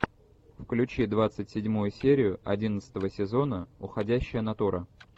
включи двадцать седьмую серию одиннадцатого сезона уходящая натура